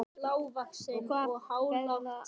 Og hvaða ferðalag er á þér?